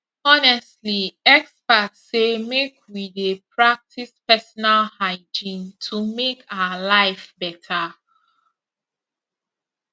honestly experts say make we dey practice personal hygiene to make our life better